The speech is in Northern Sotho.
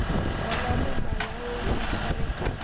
gona mo malaong ntshware ka